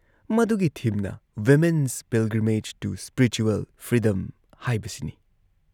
ꯃꯗꯨꯒꯤ ꯊꯤꯝꯅ "women's pilgrimage to spiritual freedom ꯍꯥꯏꯕꯁꯤꯅꯤ